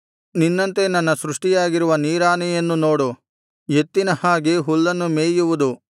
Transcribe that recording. ನಿನ್ನಂತೆ ನನ್ನ ಸೃಷ್ಟಿಯಾಗಿರುವ ನೀರಾನೆಯನ್ನು ನೋಡು ಎತ್ತಿನ ಹಾಗೆ ಹುಲ್ಲನ್ನು ಮೇಯುವುದು